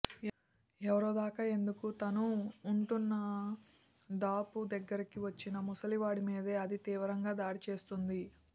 ఎవరో దాకా ఎందుకు తను ఉంటున్న దాపు దగ్గరకి వచ్చిన ముసలివాడి మీదే అది తీవ్రంగా దాడి చేస్తుంది